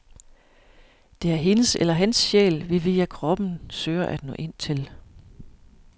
Det er hendes eller hans sjæl, vi via kroppen søger at nå ind til.